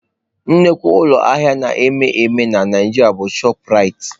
Nnukwu ụlọ ahịa na-ewu ewu na Naịjirịa bụ chopụ Raitị.